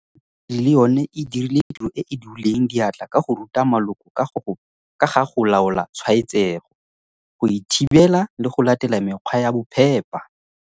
Mekgatlho ya badiri le yone e dirile tiro e e duleng diatla ka go ruta maloko ka ga go laola tshwaetsego, go e thibela le go latela mekgwa ya bophepa.